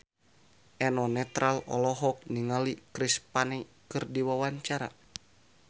Eno Netral olohok ningali Chris Pane keur diwawancara